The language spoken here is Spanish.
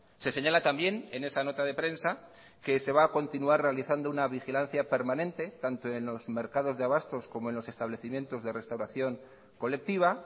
se señala también en esa nota de prensa que se va a continuar realizando una vigilancia permanente tanto en los mercados de abastos como en los establecimientos de restauración colectiva